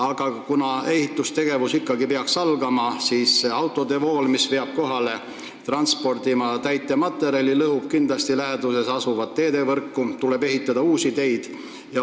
Aga kui ehitustegevus tõesti peaks algama, siis lõhuvad täitematerjali transportivad autod kindlasti läheduses asuvaid teid ja tuleb ka ehitada uusi teid.